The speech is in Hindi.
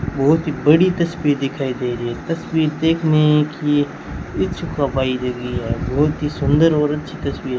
बहोत ही बड़ी तस्वीर दिखाई दे रही है इस तस्वीर देखने की दे रही है बहोत ही सुंदर औरत की तस्वीर है।